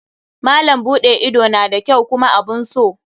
Malam buɗe ido na da kyau kuma abun so.